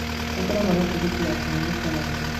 Nĩ ngoragwo na tigiti ya kũhanyũka narua.